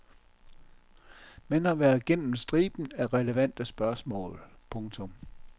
Man har været gennem striben af relevante spørgsmål. punktum